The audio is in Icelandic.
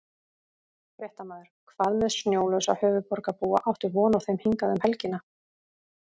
Fréttamaður: Hvað með snjólausa höfuðborgarbúa, áttu von á þeim hingað um helgina?